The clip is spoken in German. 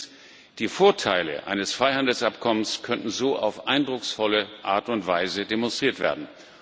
Und drittens Die Vorteile eines Freihandelsabkommens könnten so auf eindrucksvolle Art und Weise demonstriert werden.